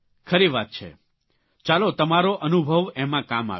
ખરી વાત છે ચાલો તમારો અનુભવ એમાં કામ આવ્યો